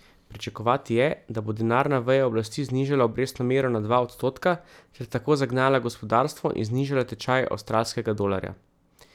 Pričakovati je, da bo denarna veja oblasti znižala obrestno mero na dva odstotka ter tako zagnala gospodarstvo in znižala tečaj avstralskega dolarja.